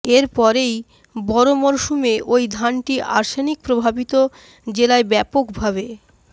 এর পরেই বরো মরসুমে ওই ধানটি আর্সেনিক প্রভাবিত জেলায় ব্যাপক ভাবে